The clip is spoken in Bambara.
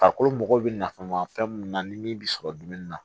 Farikolo mago bɛ nafan ma fɛn mun na ni min bɛ sɔrɔ dumuni na